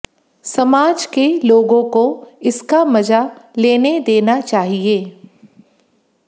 समाज के लोगों को इसका मजा लेने देना चाहिए